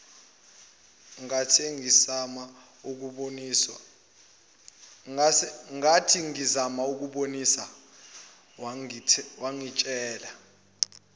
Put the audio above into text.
ngathingizama ukumbonisa wangitshela